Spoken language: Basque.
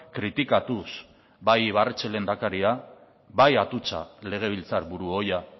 kritikatuz bai ibarretxe lehendakari bai atutxa legebiltzarburu ohia